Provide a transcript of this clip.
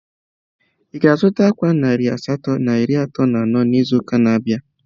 Ị ga-azụta ákwà narị asatọ na iri atọ na anọ n'izu na-abịa?